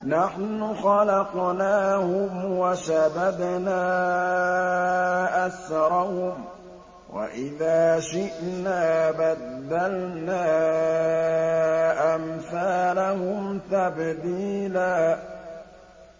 نَّحْنُ خَلَقْنَاهُمْ وَشَدَدْنَا أَسْرَهُمْ ۖ وَإِذَا شِئْنَا بَدَّلْنَا أَمْثَالَهُمْ تَبْدِيلًا